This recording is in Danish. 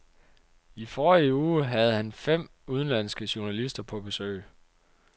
I forrige uge havde han fem udenlandske journalister på besøg.